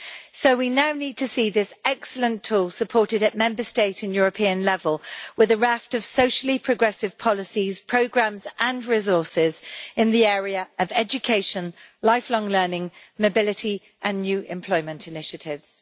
So we now need to see this excellent tool supported at Member State and European level, with a raft of socially progressive policies, programmes and resources in the area of education, lifelong learning, mobility and new employment initiatives.